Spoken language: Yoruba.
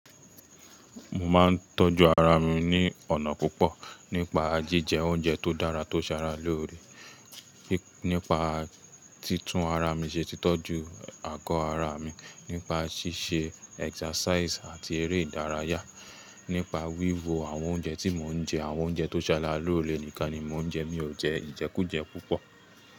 Mo máa ń tọ́jú ara mi ní ọ̀nà púpọ̀ nípa jíjẹ oúnjẹ tó dára tó ṣára lóore, nípa títún ara mi ṣe, títọ́jú àgọ́ ara mi, nípa ṣíṣe exercise àti eré ìdárayá, nípa wíwo àwọn oúnjẹ tí mò ń jẹ, àwọn oúnjẹ tó ṣára lóore nìkan ni mò ń jẹ, mi ò jẹ ìjẹkújẹ púpọ̀